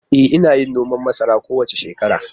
E, ina yin noman masara kowace shekara.